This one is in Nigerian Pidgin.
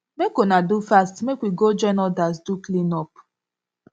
make una do fast make we go join others do clean up